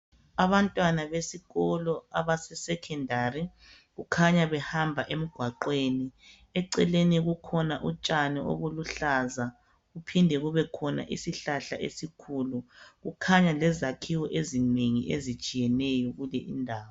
Abantwana besikolo abase secondary, kukhanya behamba emgwaqweni. Eceleni kukhona utshani obuluhlaza. Kuphinde kube khona isihlahla esikhulu. Kukhanya lezakhiwo ezinengi ezitshiyeneyo kule indawo.